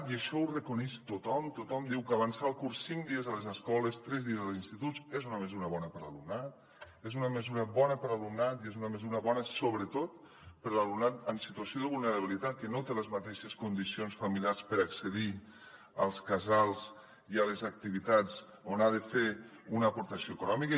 i això ho reconeix tothom tothom diu que avançar el curs cinc dies a les escoles tres dies als instituts és una mesura bona per a l’alumnat és una mesura bona per a l’alumnat i és una mesura bona sobretot per a l’alumnat en situació de vulnerabilitat que no té les mateixes condicions familiars per accedir als casals i a les activitats on ha de fer una aportació econòmica